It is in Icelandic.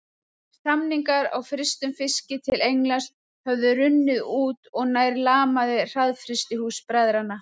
Samningar á frystum fiski til Englands höfðu runnið út og nær lamað hraðfrystihús bræðranna.